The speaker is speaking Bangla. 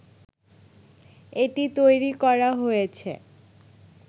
এটি তৈরি করা হয়েছে